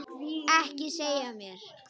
Ekki segja mér,